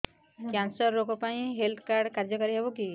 cancer ରୋଗ ପାଇଁ ଏଇ ହେଲ୍ଥ କାର୍ଡ କାର୍ଯ୍ୟକାରି ହେବ କି